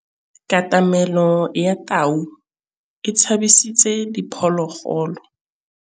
Katamêlô ya tau e tshabisitse diphôlôgôlô.